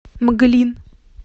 мглин